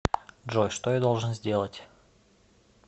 джой что я должен сделать